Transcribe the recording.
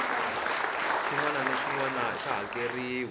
xinwana naxinwana xa hakerhiwa